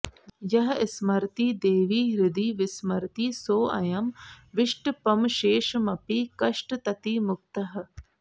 यः स्मरति देवि हृदि विस्मरति सोऽयं विष्टपमशेषमपि कष्टततिमुक्तः